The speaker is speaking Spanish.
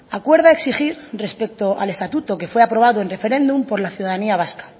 acuerda exigir respecto al estatuto que fue aprobado en referéndum por la ciudadanía vasca